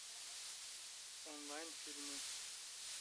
онлайн фильмы